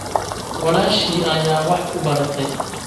Walaashii ayaa wax ku baratay